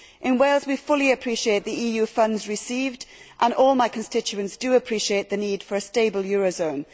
In Wales we fully appreciate the EU funds received and all my constituents appreciate the need for a stable eurozone.